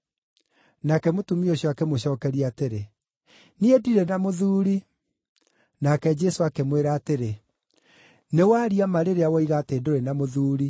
Nake mũtumia ũcio akĩmũcookeria atĩrĩ, “Niĩ ndirĩ na mũthuuri.” Nake Jesũ akĩmwĩra atĩrĩ, “Nĩ waria ma rĩrĩa woiga atĩ ndũrĩ na mũthuuri.